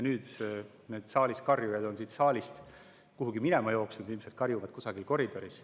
Nüüd on need karjujad siit saalist kuhugi minema jooksnud, ilmselt karjuvad kusagil koridoris.